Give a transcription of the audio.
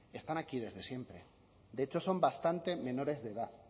están aquí desde siempre de hecho son bastante menores de edad